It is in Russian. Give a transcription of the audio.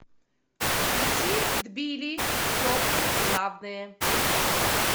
включи тбили теплый главное